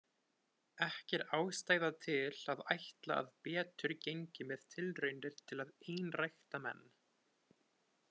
Ekki er ástæða til að ætla að betur gengi með tilraunir til að einrækta menn.